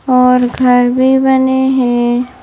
और घर भी बने हैं।